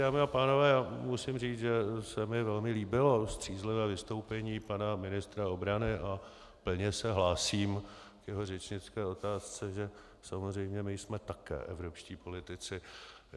Dámy a pánové, musím říct, že se mi velmi líbilo střízlivé vystoupení pana ministra obrany, a plně se hlásím k jeho řečnické otázce, že samozřejmě my jsme také evropští politici.